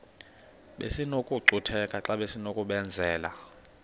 besinokucutheka xa besinokubenzela